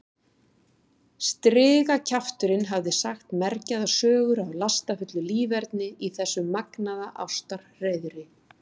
Strigakjafturinn hafði sagt mergjaðar sögur af lastafullu líferni í þessu magnaða ástarhreiðri.